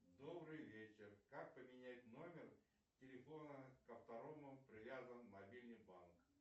добрый вечер как поменять номер телефона к которому привязан мобильный банк